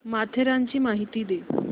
माथेरानची माहिती दे